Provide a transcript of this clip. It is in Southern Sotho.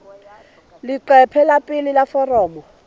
leqephe la pele la foromo